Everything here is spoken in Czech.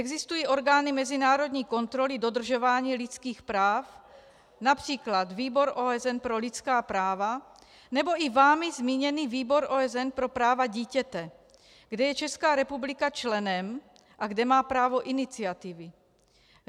Existují orgány mezinárodní kontroly dodržování lidských práv, například Výbor OSN pro lidská práva nebo i vámi zmíněný Výbor OSN pro práva dítěte, kde je Česká republika členem a kde má právo iniciativy.